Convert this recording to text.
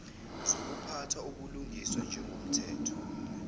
zokuphatha ubulungisa njengomthetho